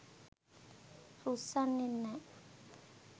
රුස්සන්නේ නෑ.